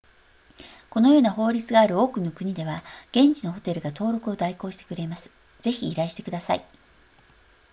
このような法律がある多くの国では現地のホテルが登録を代行してくれますぜひ依頼してください